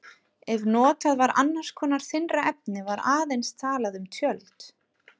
Ef notað var annars konar þynnra efni var aðeins talað um tjöld.